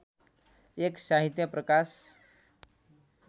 १ साहित्य प्रकाश